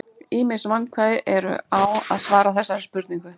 Ýmis vandkvæði eru á að svara þessari spurningu.